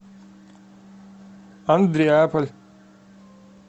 андреаполь